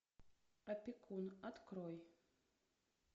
опекун открой